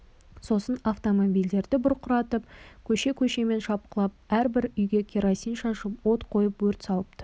сосын автомобильдер бұрқыратып көше-көшемен шапқылап әрбір үйге керосин шашып от қойып өрт салыпты